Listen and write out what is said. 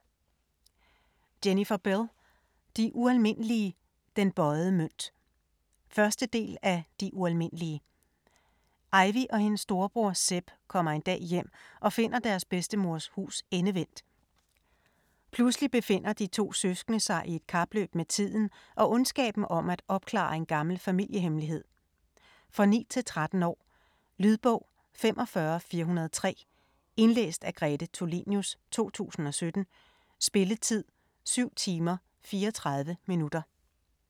Bell, Jennifer: De ualmindelige - den bøjede mønt 1. del af De ualmindelige. Ivy og hendes storebror Seb kommer en dag hjem og finder deres bedstemors hus endevendt. Pludselig befinder de to søskende sig i et kapløb med tiden og ondskaben om at opklare en gammel familiehemmelighed. For 9-13 år. Lydbog 45403 Indlæst af Grete Tulinius, 2017. Spilletid: 7 timer, 34 minutter.